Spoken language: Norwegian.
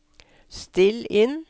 still inn